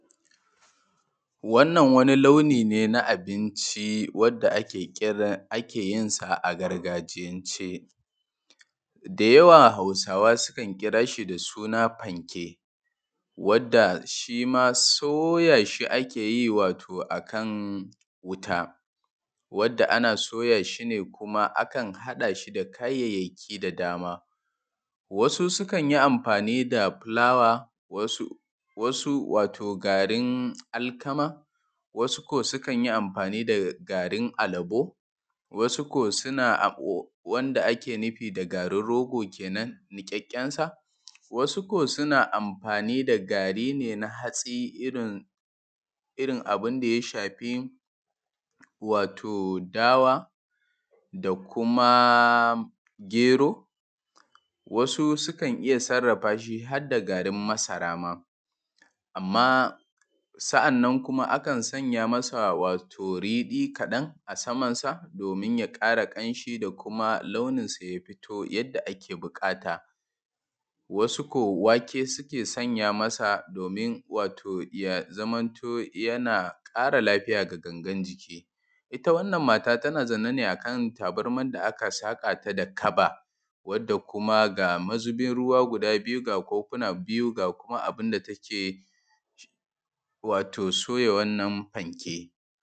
Wannan wani launi ne na abinci wanda ake kira ake yinsa a gargajiyance, da yawa Hausawa suna kiranshi da suna ɸa:nke: wadda shima soyashi ake yi wato akan wuta wadda ana soyashi kuma akan haɗa shi da kayayyaki da dama. Wasu sukan yi amfani da fulawa wasu wato garin alkama wasu ko sukan yi amfani da garin alabo wasu ko suna wanda ake nufi da garin rogo kenen nikekensa wasu ko suna amfani da gari ne na hatsi irin abinda ya shafi dawa da kuma gero wasu sukan iya sarrafa har da garin masara ma. Amma sa’anan kuma akan sanya masa riɗi kadan a samansa domin ya ƙara kamshi da kuma launinsa ya fito yadda ake buƙata, wasu ko wake suke sanya masa domin wato ya zamanto yana ƙara lafiya ga gagan jiki. Ita wannan mata tana zaune ne akan tabarman da aka sakata da kaba wadda kuma ga mazubin ruwa guda biyu ga kofuna biyu ga kuma abinda da take soya wannan fanke.